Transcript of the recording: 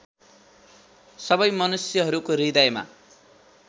सबै मनुष्यहरूको हृदयमा